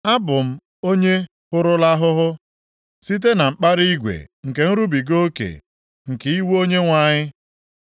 Abụ m onye hụrụla ahụhụ site na mkpara igwe nke nrubiga oke nke iwe Onyenwe anyị.